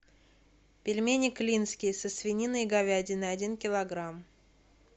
пельмени клинские со свининой и говядиной один килограмм